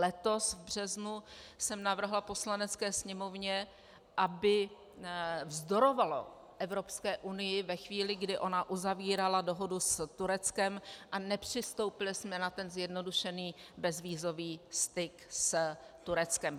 Letos v březnu jsem navrhla Poslanecké sněmovně, aby vzdorovala Evropské unii ve chvíli, kdy ona uzavírala dohodu s Tureckem, a nepřistoupili jsme na ten zjednodušený bezvízový styk s Tureckem.